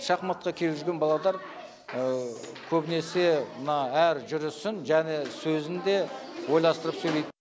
шахматқа келіп жүрген баладар көбінесе мына әр жүрісін және сөзін де ойластырып сөйлейді